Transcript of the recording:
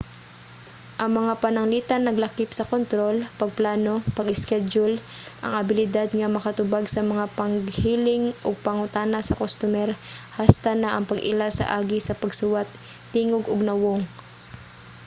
ang mga pananglitan naglakip sa kontrol pagplano pag-iskedyul ang abilidad nga makatubag sa mga paghiling ug pangutana sa kustomer hasta na ang pag-ila sa agi sa pagsuwat tingog ug nawong